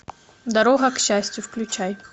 дорога к счастью включай